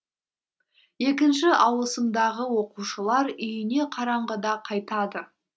екінші ауысымдағы оқушылар үйіне қараңғыда қайтады